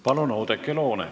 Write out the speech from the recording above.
Palun, Oudekki Loone!